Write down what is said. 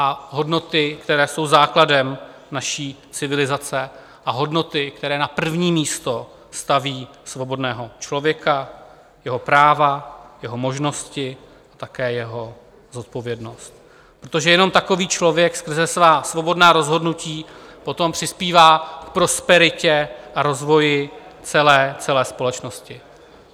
A hodnoty, které jsou základem naší civilizace a hodnoty, které na první místo staví svobodného člověka, jeho práva, jeho možnosti a také jeho zodpovědnost, protože jen takový člověk skrze svá svobodná rozhodnutí poté přispívá k prosperitě a rozvoji celé společnosti.